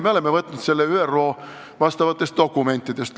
Me oleme selle võtnud ÜRO vastavatest dokumentidest.